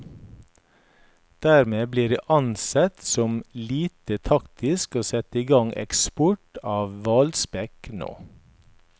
Dermed blir det ansett som lite taktisk å sette i gang eksport av hvalspekk nå.